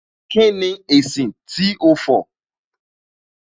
Kíni èsì tó fọ̀ lẹ́yìn tí ó ba okùn kẹ̀kẹ́ jẹ́